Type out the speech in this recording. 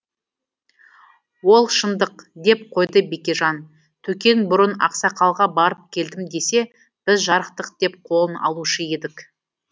ол шындық деп қойды бекежан төкең бұрын ақсақалға барып келдім десе біз жарықтық деп қолын алушы едік